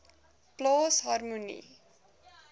plaas harmonie